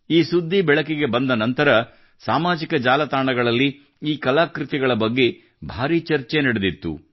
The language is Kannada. ಈ ಸುದ್ದಿ ಬೆಳಕಿಗೆ ಬಂದ ನಂತರ ಸಾಮಾಜಿಕ ಜಾಲತಾಣಗಳಲ್ಲಿ ಈ ಕಲಾಕೃತಿಗಳ ಬಗ್ಗೆ ಭಾರೀ ಚರ್ಚೆ ನಡೆದಿತ್ತು